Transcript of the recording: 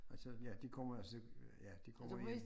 Og så ja de kommer så øh ja de kommer jo